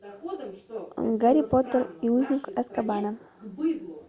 гарри поттер и узник азкабана